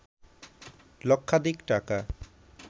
লক্ষাধিক টাকা